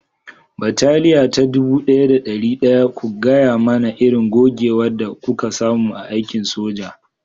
Bataliya ta dubu ɗaya da ɗari ɗaya, ku gaya mana irin gogewar da kuka samu a aikin soja